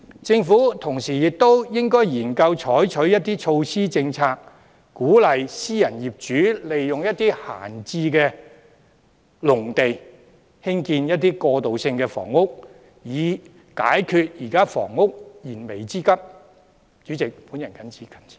政府同時亦應研究採取措施和政策，鼓勵私人業主利用閒置農地興建過渡性房屋，以解決現時房屋需求的燃眉之急。